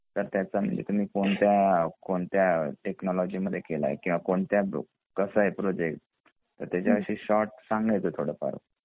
तर त्याचा तुम्ही कोणत्या कोणत्या टेक्नॉलजी मध्ये केलाय किंवा कोणत्या कसं आहे प्रोजेक्ट तर त्याचा विषयी शॉर्ट सांगायच थोडफार